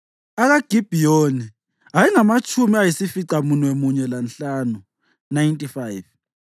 akaGibhiyoni ayengamatshumi ayisificamunwemunye lanhlanu (95),